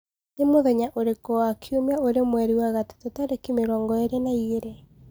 ni mũthenya ũrĩkũ wa kĩumĩa uri mweri wa gatatu tarĩkĩ mĩrongoĩrĩ na igiri